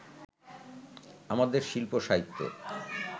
আমাদের শিল্প সাহিত্য